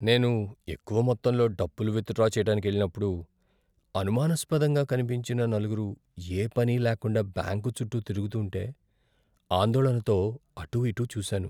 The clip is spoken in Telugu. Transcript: నేను ఎక్కువ మొత్తంలో డబ్బులు విత్డ్రా చేయడానికెళ్లినప్పుడు, అనుమానాస్పదంగా కనిపించిన నలుగురు ఏ పనీ లేకుండా బ్యాంకు చుట్టూ తిరుగుతుంటే ఆందోళనతో అటూ ఇటూ చూశాను.